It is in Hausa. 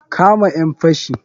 Kama ƴan fashin.